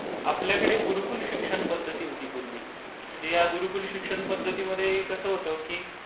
आपल्याकडे गुरुकुल शिक्षण पध्दती होती पूर्वी. गुरुकुल शिक्षण पध्दतीमध्ये कसं होतं की...